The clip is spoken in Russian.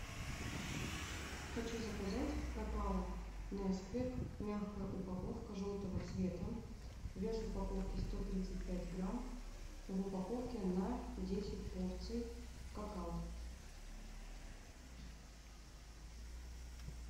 хочу заказать какао несквик мягкая упаковка желтого цвета вес упаковки сто тридцать пять грамм в упаковке на десять порций какао